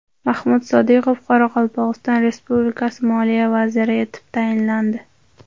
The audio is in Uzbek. Mahmud Sodiqov Qoraqalpog‘iston Respublikasi moliya vaziri etib tayinlandi.